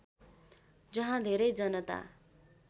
जहाँ धेरै जनता